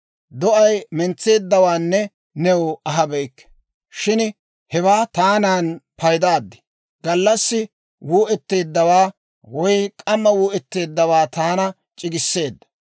Do'ay mentseeddawaanne new ahabeyikke; shin hewaa taanan paydaad. Gallassi wuu'etteeddawaa woy k'amma wuu'etteeddawaa taana c'igissaadda.